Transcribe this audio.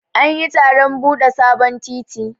An yi taron bude sabon titi.